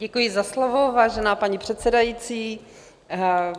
Děkuji za slovo, vážená paní předsedající.